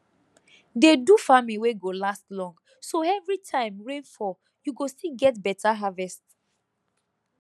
dey do farming wey go last long so every time rain fall you go still get beta harvest